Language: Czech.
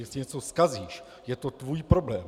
Jestli něco zkazíš, je to tvůj problém.